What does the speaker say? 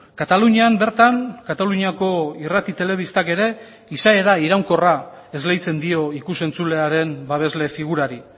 katalunian bertan kataluniako irrati telebistak ere izaera iraunkorra esleitzen dio ikus entzulearen babesle figurari